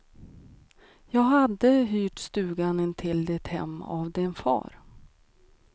Jag hade hyrt stugan intill ditt hem av din far.